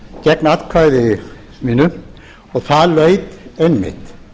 gegn atkvæði mínu og það laut einmitt